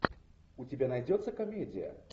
у тебя найдется комедия